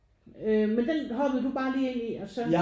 Øh men den hoppede du bare lige ind i og så?